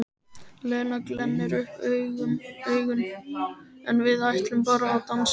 Lena glennir upp augun: En við ætlum bara að dansa.